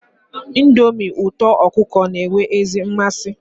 Ndomi uto okuko n'enwe ezi nmasi